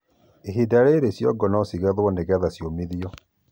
ĩhĩnda rĩrĩ cĩongo no cĩgethwo nĩgetha cĩũmĩthĩo